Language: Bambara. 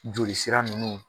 Joli sira nunnu